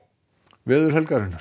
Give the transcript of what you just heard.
veður helgarinnar